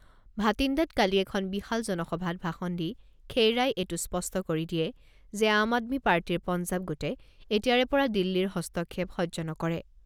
ভাটিন্দাত কালি এখন বিশাল জনসভাত ভাষণ দি খেইৰাই এইটো স্পষ্ট কৰি দিয়ে যে আম আদমী পাৰ্টীৰ পঞ্জাব গোটে এতিয়াৰে পৰা দিল্লীৰ হস্তক্ষেপ সহ্য নকৰে।